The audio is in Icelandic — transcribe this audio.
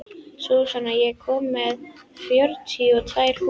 Súsan, ég kom með fjörutíu og tvær húfur!